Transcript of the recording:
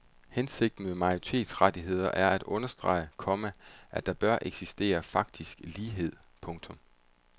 Hensigten med minoritetsrettigheder er at understrege, komma at der bør eksistere faktisk lighed. punktum